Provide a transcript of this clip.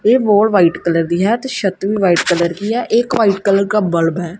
ਇਹ ਵਾਲ white colour ਦੀ ਹੈ ਤੇ ਛੱਤ ਵੀ ਵਾਈਟ ਕਲਰ ਕੀ ਹੈ ਇੱਕ ਵਾਈਟ ਕਲਰ ਕਾ ਬੱਲਬ ਹੈ।